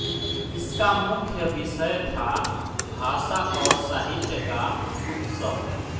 इसका मुख्य विषय था भाषा और साहित्य का उत्सव